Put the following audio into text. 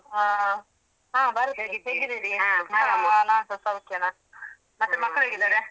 ಹ ಹ ಹೇಗಿದ್ದೀರಿ? ನಾನ್ಸ ಸೌಖ್ಯ ನಾನ್ಸ ಮತ್ತೆ ಮಕ್ಕಳು ಹೇಗಿದ್ದಾರೆ?